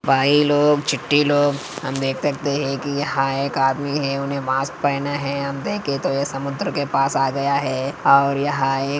भाई लोग चिट्ठी लोग हम देख सकते है की यहा एक आदमी है उसने मास्क पहना है हम देखे तो ये समुद्र के पास आ गया है और यहा एक --